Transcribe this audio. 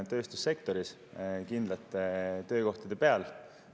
Kitsaskoht on kindlad töökohad tööstussektoris.